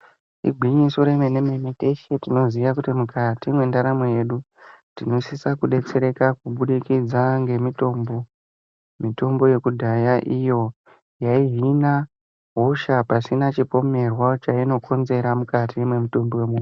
Igwinyiso yemene mene teshe tinoziya kuti mukati mendaramo yedu tinosisa kudetsereka kubudikidza ngemutombo yekudhaya iyo inozvine hosha pasina chipomerwa chainokonzera mukati memutumbi wemuntu.